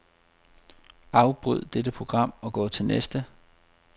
Afbryd dette program og gå til næste.